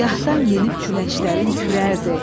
Gahdan yenib küləşlərin kürərdi.